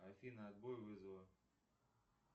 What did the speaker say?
афина отбой вызова